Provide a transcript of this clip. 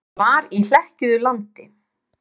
Það var í hlekkjuðu landi.